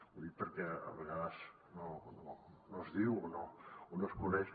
ho dic perquè a vegades no es diu o no es coneix